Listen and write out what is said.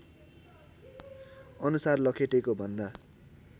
अनुसार लखेटेको भन्दा